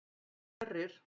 Sverrir